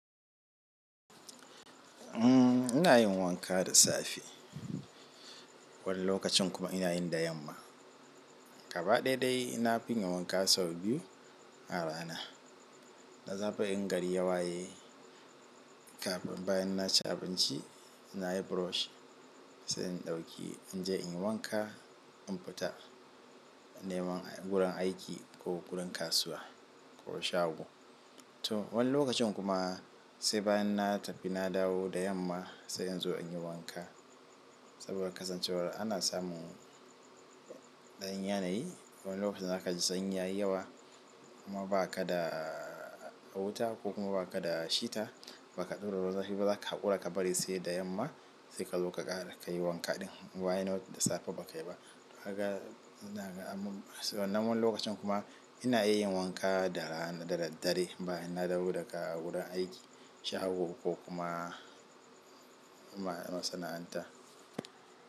Umm, ina yin wanka da safe. Wani lokacin kuma ina yi da yamma. Gaba ɗaya dai nafiyin wanka sau biyu a rana. Na saba in gari ya waye kafin bayan na ci abinci, na yi brush sai in ɗauki in je in yi wanka in fita neman gurin aiki ko gurin kasuwa ko shago. To wani lokacin kuma sai bayan na tafi na dawo da yamma sai in zo in yi wanka. Saboda kasancewar ana samun ɗan yanayi, wani lokacin za ka ji sanyi ya yi yawa kuma ba ka da wuta ko kuma ba ka da hita, ba ka ɗaura ruwan zafi ba za ka haƙura ka bari sai da yamma sai ka zo ka ƙara ka yi wanka ɗin. Wa yana da safe ba ka yi ba. Haka ina ganin. Sai nan wani lokacin kuma ina iya yin wanka da ran da daddare bayan na dawo daga gurin aiki, shago ko kuma masana'anta.